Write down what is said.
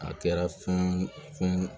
A kɛra funu funu